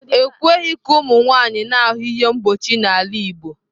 E kweghị ka ụmụ nwanyị na-ahụ ihe mkpuchi n'ala Igbo.